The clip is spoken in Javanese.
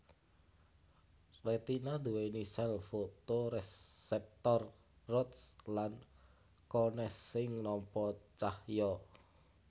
Retina nduwèni sèl fotoreseptor rods lan cones sing nampa cahya